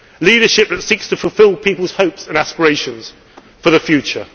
leadership which seeks to fulfil people's hopes and aspirations for the